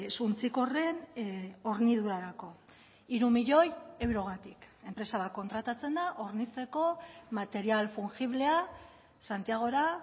suntsikorren hornidurarako hiru milioi eurogatik enpresa bat kontratatzen da hornitzeko material fungiblea santiagora